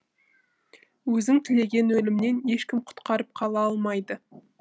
өзің тілеген өлімнен ешкім құтқарып қала алмайды